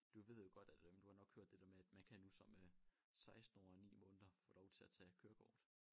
Du ved jo godt at øh du har nok hørt det der med at man nu som øh 16 år og 9 måneder få lov til at tage kørekort